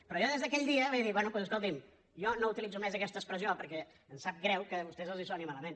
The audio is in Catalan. però jo des d’aquell dia vaig dir bé doncs escolti’m jo no utilitzo més aquesta expressió perquè em sap greu que a vostès els soni malament